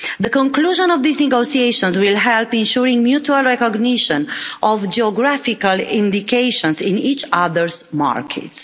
The conclusion of these negotiations will help ensure mutual recognition of geographical indications in each other's markets.